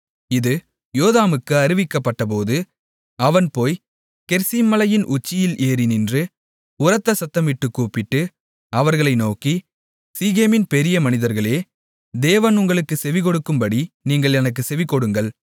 இது யோதாமுக்கு அறிவிக்கப்பட்டபோது அவன் போய் கெரிசீம் மலையின் உச்சியில் ஏறி நின்று உரத்த சத்தமிட்டுக்கூப்பிட்டு அவர்களை நோக்கி சீகேமின் பெரிய மனிதர்களே தேவன் உங்களுக்குச் செவிகொடுக்கும்படி நீங்கள் எனக்குச் செவிகொடுங்கள்